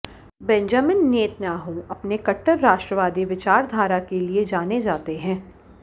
Benjamin Netanyahu अपने कट्टर राष्ट्रवादी विचारधारा के लिए जाने जाते हैं